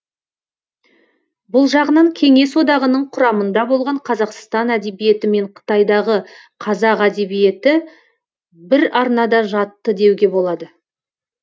бұл жағынан кеңес одағының құрамында болған қазақстан әдебиеті мен қытайдағы қазақ әдебиеті бір арнада жатты деуге болады